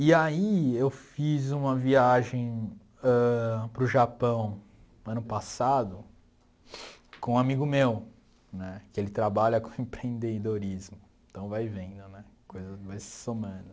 E aí eu fiz uma viagem ãh para o Japão ano passado com um amigo meu, né, que ele trabalha com empreendedorismo, então vai vendo, né, a coisa vai se somando.